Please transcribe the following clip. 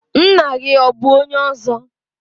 Ńnà gị ọ bụ ọnye ọzọ?